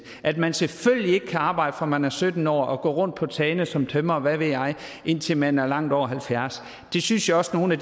at man selvfølgelig ikke kan arbejde fra man er sytten år og gå rundt på tagene som tømrer eller hvad ved jeg indtil man er langt over halvfjerds år det synes jeg også at nogle af